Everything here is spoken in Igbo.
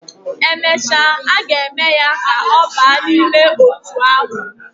Emecha, aga eme ya ka oba nime otu ahu